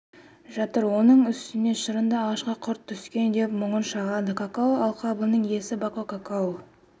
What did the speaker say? жатыр оның үстіне шырынды ағашқа құрт түскен деп мұңын шағады какао алқабының иесі бако какоу